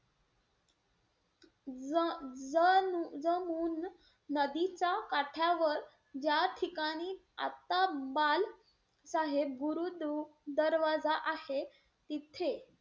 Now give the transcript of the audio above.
ज~ ज~ जमून नदीच्या काठावर, ज्या ठिकाणी आता बाल साहेब गुरु दर~ दरवाजा आहे तिथे,